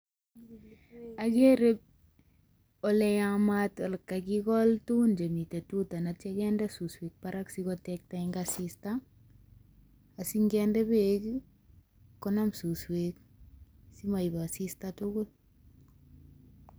Ogere ole yamat, ole kagikol tugun chemiten tuta ak kityo kinde suswek barak asikotekta en asista asi nginde beek konam suswek simoib asista tugul.